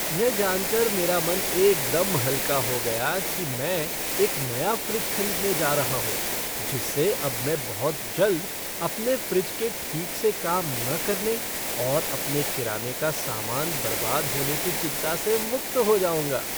यह जान कर मेरा मन एकदम हल्का हो गया कि मैं एक नया फ़्रिज खरीदने जा रहा हूँ जिससे अब मैं बहुत जल्द अपने फ्रिज के ठीक से काम न करने और अपने किराने का सामान बर्बाद होने की चिंता से मुक्त हो जाऊँगा।